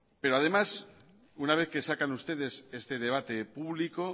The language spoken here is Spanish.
pero además una vez que sacan ustedes este debate público